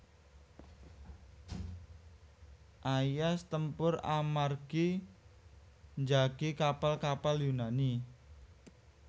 Aias tempur amargi njagi kapal kapal Yunani